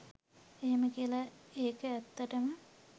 එහෙම කියලා ඒක ඇත්තටම